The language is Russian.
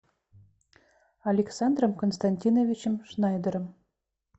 александром константиновичем шнайдером